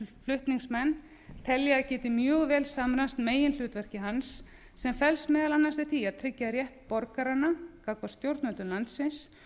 flutningsmenn telja að geti mjög vel samræmst meginhlutverki hans sem felst meðal annars í því að tryggja rétt borgaranna gagnvart stjórnendum landsins